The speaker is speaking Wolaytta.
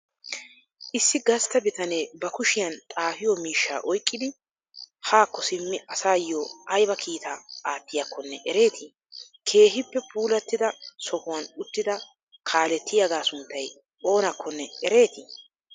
Issi gastta bitanee ba kushiyan xafiyo miishshaa oyqqidi hakko simmidi asayo aybaa kiitaa attiyakkonne ereeti? Keehippe puulatida sohuwan uttida kaaletiyaaga sunttay oonakkonne ereeti?